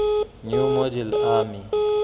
new model army